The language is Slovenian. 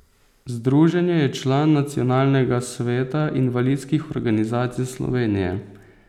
Združenje je član Nacionalnega sveta invalidskih organizacij Slovenije.